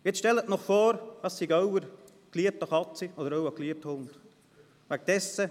Jetzt stellen Sie sich vor, das sei Ihre geliebte Katze oder Ihr geliebter Hund.